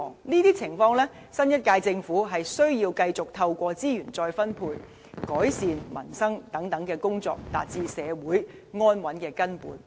這些情況，新一屆政府需要繼續透過資源再分配、改善民生等工作，達致社會安穩的根本。